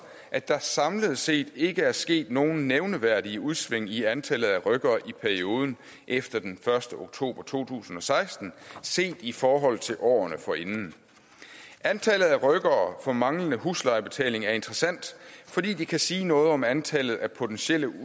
at der samlet set ikke er sket nogen nævneværdige udsving i antallet af rykkere i perioden efter den første oktober to tusind og seksten set i forhold til årene forinden antallet af rykkere for manglende huslejebetaling er interessant fordi det kan sige noget om antallet af potentielle